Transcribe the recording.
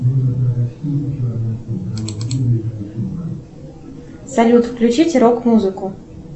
салют включите рок музыку